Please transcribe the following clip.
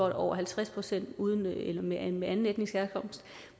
er over halvtreds procent med anden anden etnisk herkomst